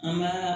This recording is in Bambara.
An ka